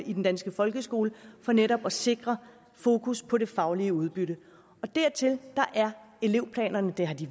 i den danske folkeskole for netop at sikre fokus på det faglige udbytte dertil er elevplanerne det har de